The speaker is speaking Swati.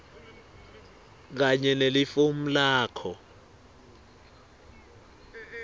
kanye nelifomu lakho